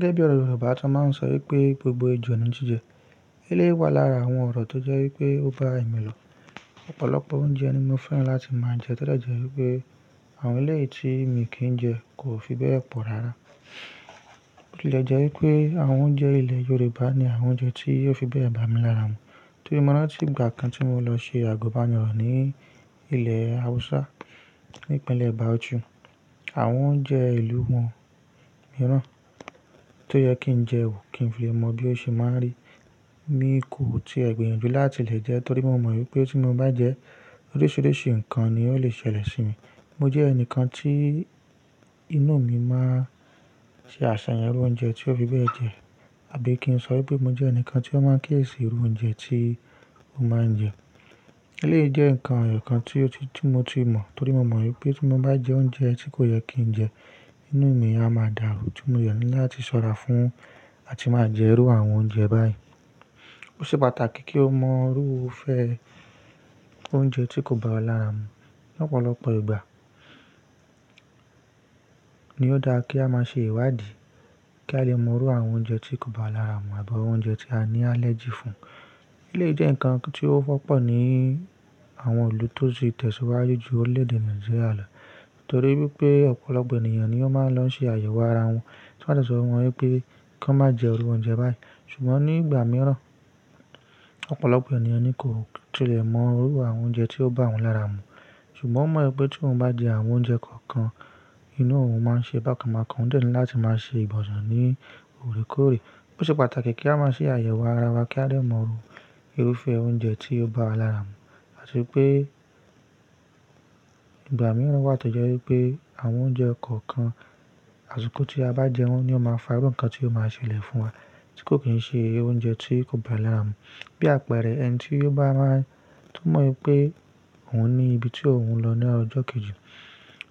Gẹ́gẹ́ bí ọ̀rọ̀ Yorùbá, ti wọn máa ń sọ wípé gbogbo ejò ni jíjẹ. Eléyii wá lára àwọn ọ̀rọ̀ tó jẹ́ wípé ó bá mi lò. Ọ̀pọ̀lọpọ̀ oúnjẹ ni mo fẹ́ràn láti máa jẹ todẹ jẹ́ wípé àwọn ilé tí mo kì í jẹ kò fi bẹ́ẹ̀ pọ̀ rara. Botilẹjẹ wípé àwọn oúnjẹ ilẹ̀ Yorùbá ni àwọn oúnjẹ tí ó fi bẹ́ẹ̀ bà mí lára mu. Torí mo rántí ìgbà kan tí mo lọ ṣe àgọ́banirọ̀ ní ilẹ̀ Hausa ní ìpínlẹ̀ Bauchi. Àwọn oúnjẹ ìlú wọn míràn tó yẹ kí n jẹ ò kí n fi lẹ́ mọ bí ó ṣe máa rí. Mi kò tíì gbìyànjú láti lè jẹ torí mo mọ̀ wípé tí mo bá jẹ oríṣiríṣi nǹkan ni ó lè ṣẹlẹ̀ sí mi. Mo jẹ́ ẹnìkan tí inú mi máa ṣe àṣàyàn irú oúnjẹ tí ó fi bẹ́ẹ̀ jẹ àbí kí n sọ wípé mo jẹ́ ẹnìkan tí ó máa ń kéèsì irú oúnjẹ tí mo máa ń jẹ. Eléyìí jẹ́ nǹkan èèyàn kan tí mo ti mọ̀ torí mo mọ̀ wípé tí mo bá jẹ oúnjẹ tí kò yẹ kí n jẹ, inú mi á máa dàrú tí mo yọ̀n láti ṣọ́ra fún àti máa jẹ irú àwọn oúnjẹ báyìí. Ó ṣe pàtàkì kí o mọ irúfẹ́ oúnjẹ tí kò bá ọ lára mu. Ní ọ̀pọ̀lọpọ̀ ìgbà ni ó dára kí a máa ṣe ìwádìí kí a lè mọ irú àwọn oúnjẹ tí kò bá wa lára mu àbí àwọn oúnjẹ tí a ní allergy fún. Eléyìí jẹ́ nǹkan tí ó wọ́pọ̀ ní àwọn ìlú tó ti tẹ̀síwájú ju orílẹ̀ èdè Nàìjíríà lọ torí wípé ọ̀pọ̀lọpọ̀ ènìyàn ni ó máa ń lọ ṣe àyẹ̀wò ara wọn, tí wọ́n á dẹ̀sọ̀ fún wọn wípé kí wọ́n má jẹ irú oúnjẹ báyìí. Ṣùgbọ́n ní ìgbà mìíràn ọ̀pọ̀lọpọ̀ ènìyàn ni kò tilẹ̀ mọ irú àwọn oúnjẹ tí ó bá wọn lára mu. Ṣùgbọ́n wọ́n mọ̀ wípé tí wọ́n bá jẹ àwọn oúnjẹ kọ̀ọ̀kan inú ọ̀hún máa ń ṣe bákan bákan ó dẹ̀ ni láti máa ṣe ìgbọ̀n sẹ ní òrékórè. Ó ṣe pàtàkì kí a máa ṣe àyẹ̀wò ara wa kí a lè mọ irú irúfẹ́ oúnjẹ tí ó bá wa lára mu àti pé ìgbà mìíràn wà tó jẹ́ wípé àwọn oúnjẹ kọ̀ọ̀kan àsìkò tí a bá jẹ wọn ni ó máa fa irú nǹkan tí ó máa ṣẹlẹ̀ fún wa tí kò kì í ṣe oúnjẹ tí kò bá lára mu. Bí àpẹẹrẹ ẹni tí ó bá máa to mọ̀ wípé òun ní ibi tí òun lọ ní ọjọ́ kejì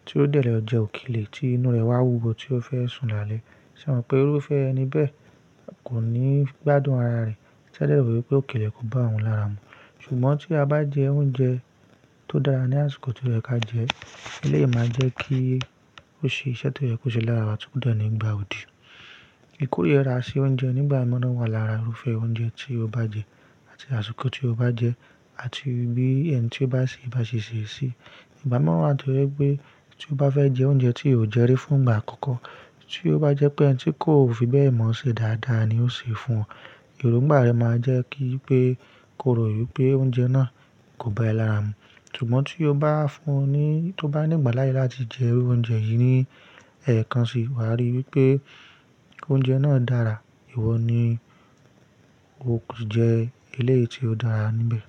tí ó dẹ̀ lọ jẹ òkèlè tí inú rẹ̀ wá wúwo tí ó fẹ́ sùn lálẹ́. Ṣé o mọ̀ pé irúfẹ́ ẹni bẹ́ẹ̀ kò ní gbádùn ara rẹ̀ tí a dẹ̀ rò wípé òkèlè kò bá òun lára mu. Ṣùgbọ́n tí a bá jẹ oúnjẹ tó dára ní àsìkò tí ó yẹ kí a jẹ, eléyìí máa jẹ́ kí ó ṣe iṣẹ́ tó yẹ kó ṣe lára wa ti ko dẹ̀ ní gbà òdì. Ikorira sí oúnjẹ nígbà mìíràn wà lára irúfẹ́ oúnjẹ tí o bá jẹ àti àsìkò tí o bá jẹ àti bí ẹni tí o bá ṣe bá ṣe ṣèṣì. Ìgbà mìíràn wà tó jẹ́ wípé tí o bá fẹ́ jẹ oúnjẹ tí ò jẹ rí fún ìgbà àkọ́kọ́ tí ó bá jẹ́ pé ẹni tí kò fi bẹ́ẹ̀ mọ̀ ṣe dáadáa ni ó sè é fún ọ, èròngbà rẹ́ máa jẹ́ kí pé ko rò wípé oúnjẹ náà kò bá ẹ lára mu. Ṣùgbọ́n tí ó bá fún ọ ní-- tí ó bá ní ìgbà láyè láti jẹ irú oúnjẹ yìí ní ẹ̀ẹ̀kan sì wàá rí wípé oúnjẹ náà dára, ìwọ ni o kò ti jẹ eléyìí tí ó dára níbẹ̀.